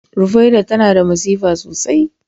Rufaiɗah tana da masifa sosai